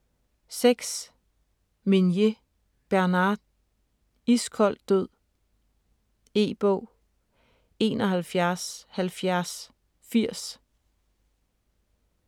6. Minier, Bernard: Iskold død E-bog 717080